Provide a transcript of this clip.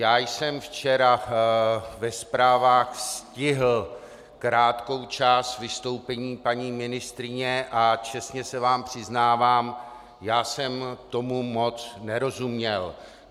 Já jsem včera ve zprávách stihl krátkou část vystoupení paní ministryně a čestně se vám přiznávám, já jsem tomu moc nerozuměl.